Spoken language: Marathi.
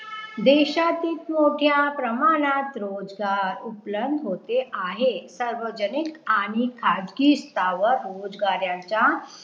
देशातीत मोठ्या प्रमाणात रोजगार उपलब्ध होते आहे सार्वजनिक आणि खाजगी सेवा रोजगारांच्या